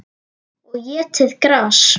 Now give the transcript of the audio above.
Og étið gras.